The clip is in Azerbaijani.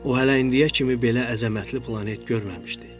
O hələ indiyə kimi belə əzəmətli planet görməmişdi.